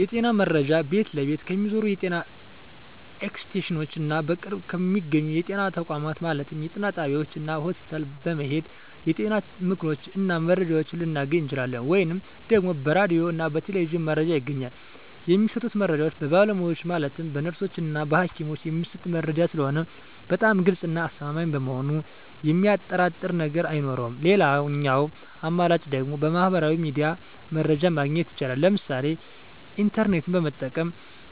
የጤና መረጃ ቤት ለቤት ከሚዞሩት የጤና ኤክስቴንሽኖች እና በቅርብ በሚገኙ የጤና ተቋማት ማለትም ጤና ጣቢያዎች እና ሆስፒታል በመሔድ የጤና ምክሮችን እና መረጃዎችን ልናገኝ እንችላለን። ወይም ደግሞ በራዲዮ እና በቴሌቪዥንም መረጃ ይገኛል። የሚሰጡት መረጃዎች በባለሙያዎች ማለትም በነርሶች እና በሀኪሞች የሚሰጥ መረጂ ስለሆነ በጣም ግልፅ እና አስተማማኝ በመሆኑ የሚያጠራጥር ነገር አይኖረውም ሌላኛው አማራጭ ደግሞ በሚህበራዊ ሚዲያ መረጃ ማግኘት ይቻላል ለምሳሌ ኢንተርኔትን በመጠቀም